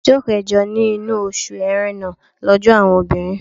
Ọjọ́ kẹjọ nínú oṣù Ẹ̀rẹnà lọ́jọ́ àwọn obìnrin.